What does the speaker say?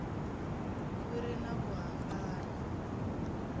ku ri na ku hambana